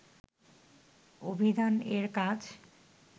অভিধান এর কাজ